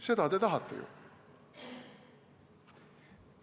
Seda te tahate ju!